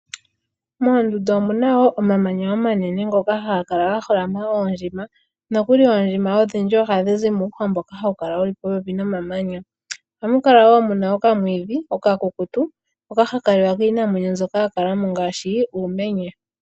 Moondundu omuna omahala ngoka haga kala gaholamwa koondjima nokuli oondjima ohadhi zi muuhwa mboka hawu kala wuli popepi nomamanya . Ohamu kala wo muna okamwiidhi okakukutu, hoka haka liwa kiinamwenyo mbyoka yakalamo ngaashi uumenye.